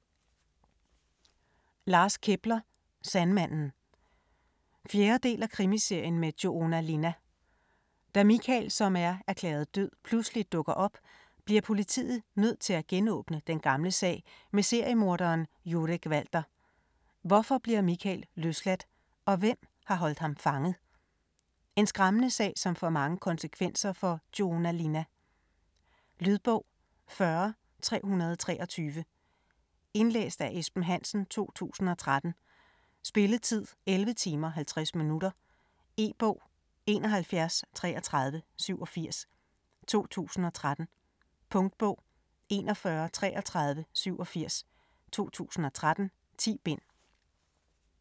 Kepler, Lars: Sandmanden 4. del af Krimiserien med Joona Linna. Da Mikael, som er erklæret død, pludselig dukker op, bliver politiet nødt til at genåbne den gamle sag med seriemorderen Jurek Walter. Hvorfor bliver Mikael løsladt, og hvem har holdt ham fanget? En skræmmende sag som får mange konsekvenser for Joona Linna. Lydbog 40323 Indlæst af Esben Hansen, 2013. Spilletid: 11 timer, 50 minutter. E-bog 713387 2013. Punktbog 413387 2013. 10 bind.